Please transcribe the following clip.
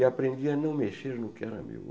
E aprendi a não mexer no que era meu.